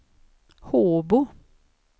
Håbo